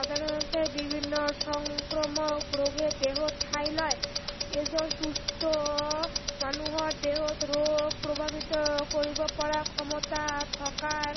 সাধাৰনতে বিভিন্ন সংক্ৰমক ৰোগে দেহত ঠাই লয়। এই যে সুস্থ মানুহৰ দেহত ৰোগ প্ৰভাৱিত কৰিব পৰা ক্ষমতা থকাৰ